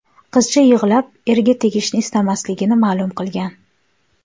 Qizcha yig‘lab, erga tegishni istamasligini ma’lum qilgan.